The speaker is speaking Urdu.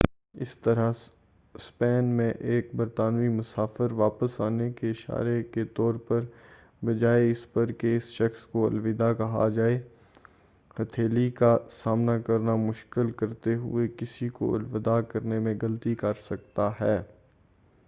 اسی طرح، اسپین میں ایک برطانوی مسافر واپس آنے کے اشارے کے طور پر بجائے اس پر کہ اس شخص کو الوداع کہا جائے ہتهیلی کا سامنا کرنا شامل کرتے ہوئے کسی کو الوداع کرنے میں غلطی کر سکتا ہے۔